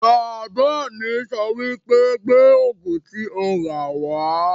Bàbá mi sọ wípé 'Gbé Ògùn tí o rà wá'